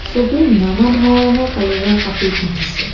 চবেই নানা ধৰণৰ কালাৰৰ কাপোৰ পিন্ধিছে।